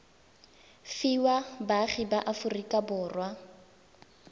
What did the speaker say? fiwa baagi ba aforika borwa